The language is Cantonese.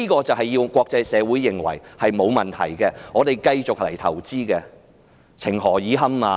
政府要國際社會認為香港沒有問題，繼續來投資，情何以堪？